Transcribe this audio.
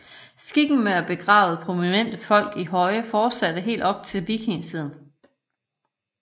Skikken med at begrave prominente folk i høje fortsatte helt op til vikingetiden